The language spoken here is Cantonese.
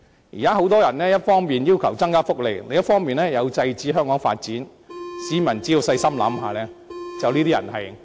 現時有很多人一方面要求增加福利，另一方面又要制止香港進行發展，市民只要細心想一想，便可知道這些人其實是在"搵笨"。